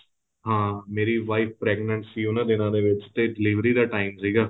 ਹਾਂ ਮੇਰੀ wife pregnant ਸੀ ਉਹਨਾ ਦਿਨਾਂ ਦੇ ਵਿੱਚ ਤੇ delivery ਦਾ time ਸੀਗਾ